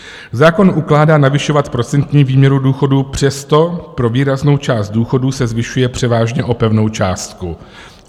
Zákon ukládá navyšovat procentní výměru důchodu, přesto pro výraznou část důchodů se zvyšuje převážně o pevnou částku.